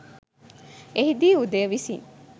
එහිදී උදය විසින්